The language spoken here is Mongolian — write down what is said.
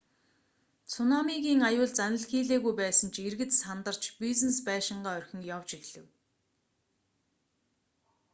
цунамигийн аюул заналхийлээгүй байсан ч иргэд сандарч бизнес байшингаа орхин явж эхлэв